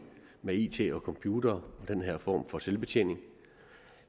med it og computere og den her form for selvbetjening